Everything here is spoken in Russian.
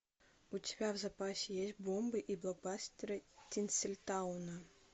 у тебя в запасе есть бомбы и блокбастеры тинсельтауна